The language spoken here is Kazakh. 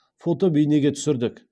фото бейнеге түсірдік